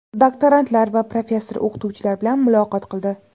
doktorantlar va professor-o‘qituvchilar bilan muloqot qildi.